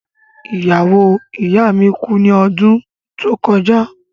Iyawo iya mi ku ni ọdun to kọja.